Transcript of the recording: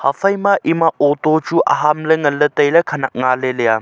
haphai ma ema auto chu aham ley nganley tailey khanak ngaley leya.